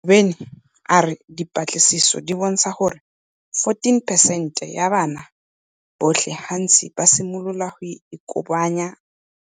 Ngobeni a re dipatlisiso di bontsha gore 41 percent ya bana botlhe gantsi ba simolola go ikobonya